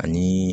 Ani